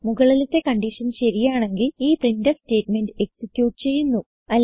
മുകളിലത്തെ കൺഡിഷൻ ശരിയാണെങ്കിൽ ഈ പ്രിന്റ്ഫ് സ്റ്റേറ്റ്മെന്റ് എക്സിക്യൂട്ട് ചെയ്യുന്നു